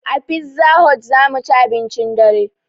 A pizza hot zamuci abincin dare